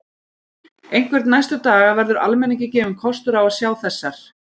Einhvern næstu daga verður almenningi gefinn kostur á að sjá þessar